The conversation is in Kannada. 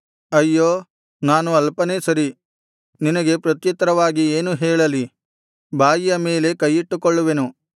ಅಯ್ಯೋ ನಾನು ಅಲ್ಪನೇ ಸರಿ ನಿನಗೆ ಪ್ರತ್ಯುತ್ತರವಾಗಿ ಏನು ಹೇಳಲಿ ಬಾಯಿಯ ಮೇಲೆ ಕೈಯಿಟ್ಟುಕೊಳ್ಳುವೆನು